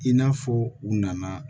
I n'a fɔ u nana